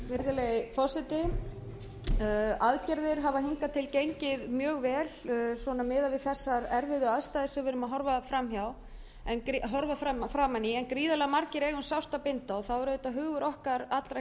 forseti aðgerðir hafa hingað til gengið mjög vel miðað við þessar erfiðu aðstæður sem við erum að horfa framan í en gríðarlega margir eiga um sárt að binda og þá er auðvitað hugur okkar allra